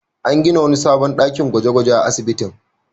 An gina wani sabon dakin gwaje-gwaje a asibitin.